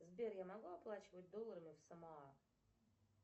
сбер я могу оплачивать долларами в самоа